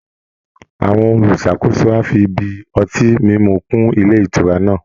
Àwọn olùṣàkóso á fi ibi ọtí mímú kún ilé ìtura náà